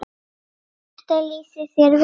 Þetta lýsir þér vel.